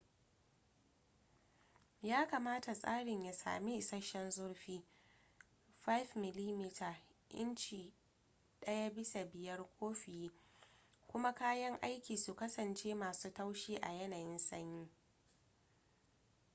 ya kamata tsarin ya sami isasshen zurfi 5 mm inci 1/5 ko fiye kuma kayan aikin su kasance masu taushi a yanayin sanyi